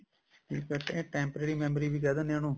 infact ਇਹ temporary memory ਵੀ ਕਹਿ ਦਿੰਦੇ ਨੇ ਉਹਨੂੰ